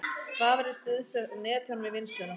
Vafrinn styðst við netþjón við vinnsluna